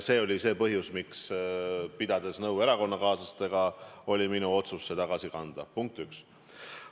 See oli põhjus, miks oli minu otsus, pidades nõu ka erakonnakaaslastega, see raha tagasi kanda, punkt üks.